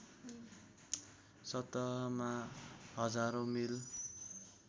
सतहमा हजारौँ मिल